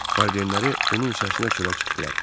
Valideynləri onun səsinə çölə çıxdılar.